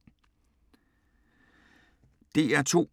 DR2